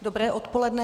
Dobré odpoledne.